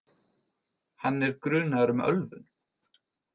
Hann er grunaður um ölvun